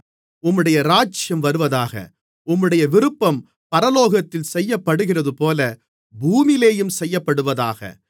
உம்முடைய ராஜ்யம் வருவதாக உம்முடைய விருப்பம் பரலோகத்திலே செய்யப்படுகிறதுபோல பூமியிலேயும் செய்யப்படுவதாக